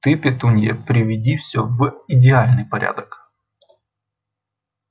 ты петунья приведи все в идеальный порядок